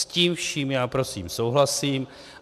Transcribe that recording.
S tím vším já prosím souhlasím.